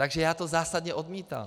Takže já to zásadně odmítám!